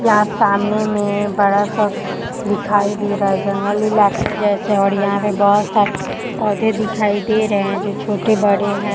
यहाॅं सामने में बड़ा सा दिखाई दे रहा है जंगल इलाके जैसे और यहाॅं पे पौधे दिखाई दे रहे हैं जो छोटे बड़े हैं।